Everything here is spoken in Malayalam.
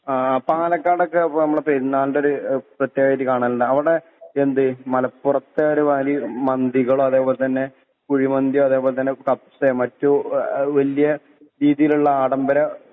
ആ പാലക്കാടൊക്കെ പ്പ ഞമ്മളെ പെരുന്നാൾന്റൊര് ഏ പ്രത്യേകതായിട്ട് കാണൽണ്ട് അവടെ എന്ത് മലപ്പൊറത്തെ ഒരു വലി മന്തികളോ അതെ പോലെ തന്നെ കുഴി മന്തി അതെ പോലെ തന്നെ കബ്‌സെ മറ്റു ഏ വല്ല്യ രീതീല്ള്ള ആഡംബര